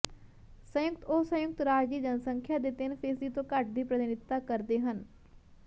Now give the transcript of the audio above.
ਸੰਯੁਕਤ ਉਹ ਸੰਯੁਕਤ ਰਾਜ ਦੀ ਜਨਸੰਖਿਆ ਦੇ ਤਿੰਨ ਫੀਸਦੀ ਤੋਂ ਘੱਟ ਦੀ ਪ੍ਰਤੀਨਿਧਤਾ ਕਰਦੇ ਹਨ